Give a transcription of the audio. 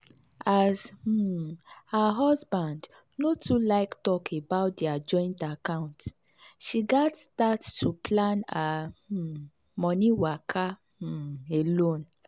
as um her husband no too like talk about their joint account she gats start to plan her um money waka um alone.